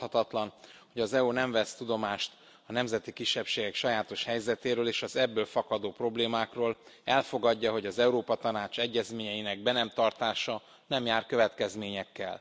Tarthatatlan, hogy az EU nem vesz tudomást a nemzeti kisebbségek sajátos helyzetéről és az ebből fakadó problémákról, elfogadja, hogy az Európai Tanács egyezményeinek be nem tartása nem jár következményekkel.